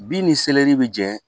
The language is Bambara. Bin ni bi jɛ